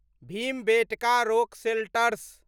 Bhimbetka rock shelters